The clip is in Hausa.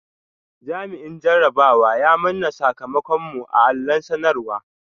Jami’in jarabawa ya manna sakamakon mu a allon sanarwa